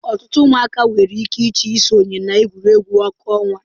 Ọtụtụ ụmụaka nwere ike ịchọ isonye na egwuregwu ọkụ ọnwa.